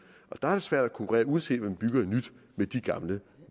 og der er det svært at konkurrere uanset om man bygger nyt med de gamle